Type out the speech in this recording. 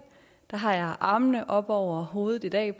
har armene oppe over hovedet i dag